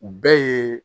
U bɛɛ ye